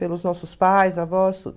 Pelos nossos pais, avós, tudo.